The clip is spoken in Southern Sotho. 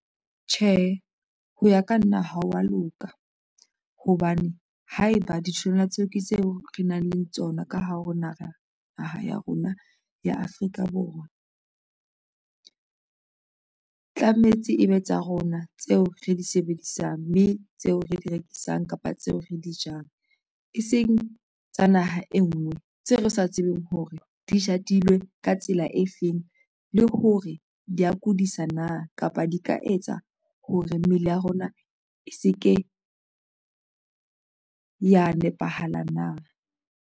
Tjhe, ho ya ka nna ha wa loka hobane haeba ditholwana tseo ke tseo re nang le tsona ka hare ho naha, naha ya rona ya Afrika Borwa tlametse ebe tsa rona tse o re di sebedisang mme tseo re di rekisang kapa tseo re di jang e seng tsa naha enngwe tseo re sa tsebeng hore di jadilwe ka tsela e feng le hore di ya kudisa na, kapa di ka etsa hore mmele ya rona e se ke ya nepahala na.